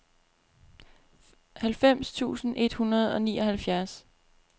halvfems tusind et hundrede og nioghalvfjerds